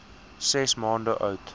ses maande oud